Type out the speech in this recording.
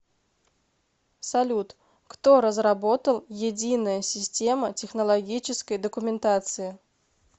салют кто разработал единая система технологической документации